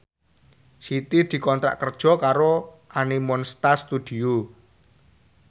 Siti dikontrak kerja karo Animonsta Studio